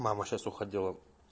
мама сейчас уходила